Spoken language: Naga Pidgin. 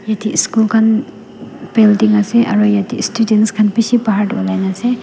etey school khan building ase aru yetey students khan bishi bahar tey olai na ase.